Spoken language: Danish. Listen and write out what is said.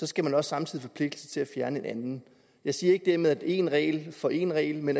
skal man også samtidig forpligte sig til at fjerne en anden jeg siger ikke dermed at det skal én regel for én regel men